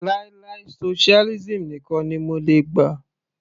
Láì láì socialism nìkan ni mo lè gbà.